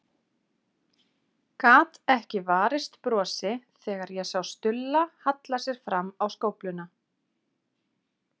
Gat ekki varist brosi þegar ég sá Stulla halla sér fram á skófluna.